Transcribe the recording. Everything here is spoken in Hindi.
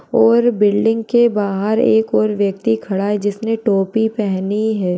और बिल्डिंग के बाहर एक ओर व्यक्ति खड़ा है जिसने टोपी पहनी है।